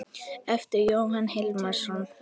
eftir Jón Hilmar Jónsson